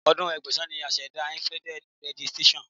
Ọdún Ẹgbẹ̀sán ni a ṣẹ̀dá Infrared radiation.